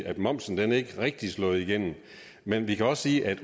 at momsen ikke rigtig er slået igennem men vi kan også sige at